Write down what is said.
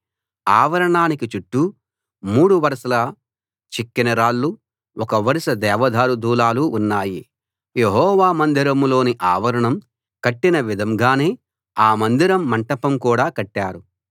ఆవరణానికి చుట్టూ మూడు వరుసల చెక్కిన రాళ్లు ఒక వరుస దేవదారు దూలాలు ఉన్నాయి యెహోవా మందిరంలోని ఆవరణం కట్టిన విధంగానే ఆ మందిరం మంటపం కూడా కట్టారు